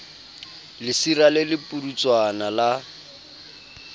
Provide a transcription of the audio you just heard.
lesira le le pudutswana la